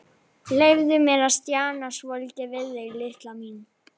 Leyfðu mér að stjana svolítið við þig, litla mín.